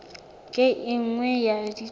ke e nngwe ya dintlha